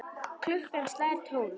Klukkan slær tólf.